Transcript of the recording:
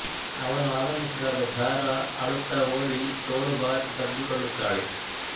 ಅವನು ಆಗಮಿಸಿದಾಗ ಜ಼ಾರಾ ಅಳುತ್ತಾ ಓಡಿ ತೋಳು ಬಾಚಿ ತಬ್ಬಿಕೊಳ್ಳುತ್ತಾಳೆ